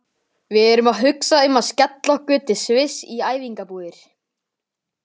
Við erum að hugsa um að skella okkur til Sviss í æfingabúðir.